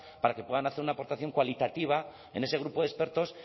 para que puedan hacer una aportación cualitativa en ese grupo de expertos